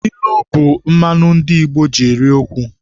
Ilu bụ mmanụ ndị Igbo ji eri okwu.